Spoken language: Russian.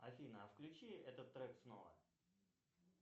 афина а включи этот трек снова